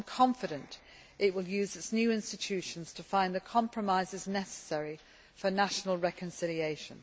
I am confident it will use its new institutions to find the compromises necessary for national reconciliation.